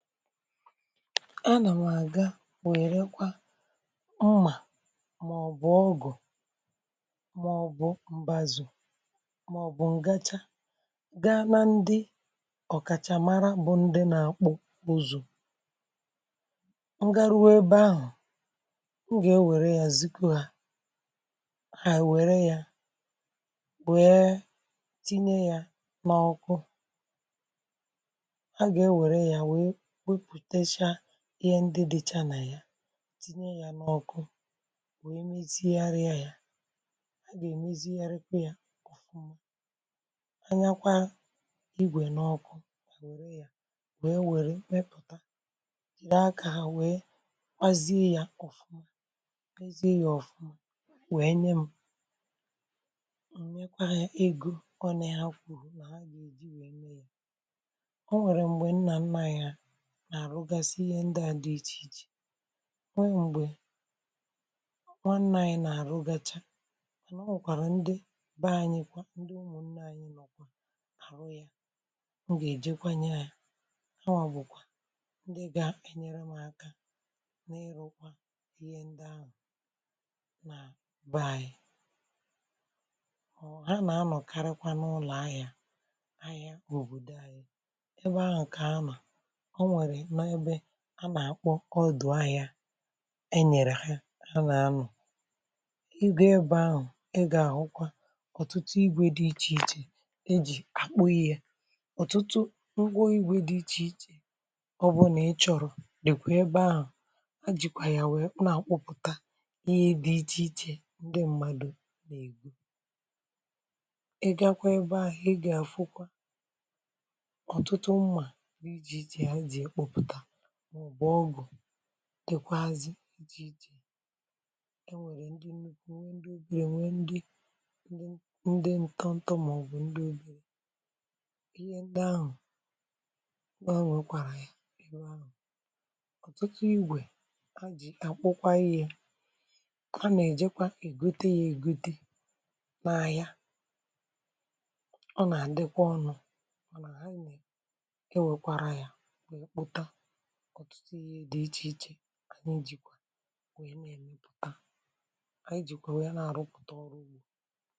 A nà m̀ àga wè èrekwa mmà màọ̀bụ̀ ọgụ̀, màọ̀bụ̀ mbazù, màọ̀bụ̀ ǹgàchà ga n’ndi ọ̀kàchà mara bụ̀ ndi nà akpụ buzù, ngaruwe ebe ahụ̀, m gà-ewère ya ziko ha, hà wère ya wère tinye ya n’ọkụ, a ga ewere ya wèè wepụtacha ihe ndị dịcha nà ya, tinye ya n’ọkụ wee meziara ya ya, a gà èmeziaraekwa ya ọ̀fụma, anyakwa igwè n’ọkụ wère ya wee wère kpụta jìre akȧ wee kwazie ya ọ̀fụma kwazie ya ọ̀fụma wee nye m, m̀mekwa egȯ ọ nà hakwu hụ nà ha gà èji wèe mee ya. Ọ nwèrè m̀gbè m nà anma ya ihe narụ gasị ịhe ndị a dị iche ichè, wee mgbe nwanne anyị na-arụgasị, wala o nwere kwara ndị ba anyị kwa ndị ụmụnne anyị nọkwa ha ru ya ọ ga-ejekwanye, ya hawa bụkwa ndị ga-enyere m aka n’ịrụkwa ihe ndị ahụ na baa anyị. ha na-anọkarịkwa n’ụlọ ahịa, ahịa obodo ahịa ebe ahụ ka a na n’ebe a nà-àkpọ ọ dụ̀ ahị̇ȧ e nyèrè ha a nà-anọ̀ igȯ ebe ahụ̀, e gȧ-àhụkwa ọ̀tụtụ igwė dị ichè ichè e jì àkpọ ihe, yȧ ọ̀tụtụ ngwa igwė dị ichè ichè ọbụ̀là ị chọ̇rọ̀ dị̀kwà ebe ahụ̀, a jìkwà yà nwèe na-àkpụpụta ihe dị ichè ichè ndị mmadụ̀ nà-ègwu. e gȧkwȧ ebe ahụ̀ e gȧ-àfụkwa ọ̀tụtụ mmà dekwazị jj enwere ndị nukwu nwe ndị obere nwe ndị ndị nto ntọ maọbụ ndị obere ihe ndị ahụ nwe o nwekwara ya ebe anụ. ọtụtụ igwe a ji akpụkwa ihe, a na-ejekwa ègute ya ègute n’a ya. ọ na-adekwa ọnụ anyị jikwaa wee mee m̀pụta anyị jikwaa wee nà-àrụpụta ọrụ ugbȯ.